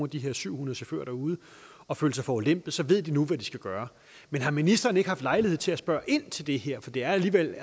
de her syv hundrede chauffører derude og føle sig forulempet så ved de nu hvad de skal gøre men har ministeren ikke haft lejlighed til at spørge ind til det her for det er alligevel